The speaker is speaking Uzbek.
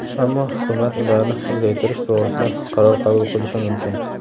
ammo hukumat ularni uzaytirish to‘g‘risida qaror qabul qilishi mumkin.